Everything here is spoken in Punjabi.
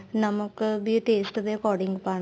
ਨਮਕ ਵੀ ਏ taste ਦੇ according ਪਾਣਾ